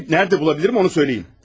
Kəndisini harda tapa bilərəm onu söyləyin.